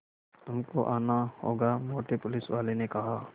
तुमको आना होगा मोटे पुलिसवाले ने कहा